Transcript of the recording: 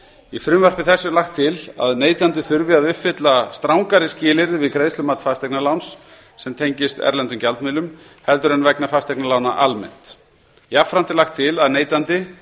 í frumvarpi þessu er lagt til að neytandi þurfi að uppfylla strangari skilyrði við greiðslumat fasteignaláns sem tengist erlendum gjaldmiðlum en vegna fasteignalána almennt jafnframt er lagt til